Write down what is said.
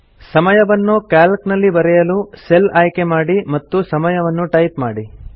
ಸಮಯವನ್ನು ಕ್ಯಾಲ್ಕ್ ನಲ್ಲಿ ಬರೆಯಲು ಸೆಲ್ ಆಯ್ಕೆ ಮಾಡಿ ಮತ್ತು ಸಮಯವನ್ನು ಟೈಪ್ ಮಾಡಿ